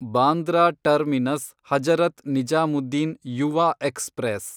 Bandra terminus Hazrat Nizamuddin Yuva express